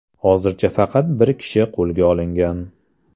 Hozircha faqat bir kishi qo‘lga olingan.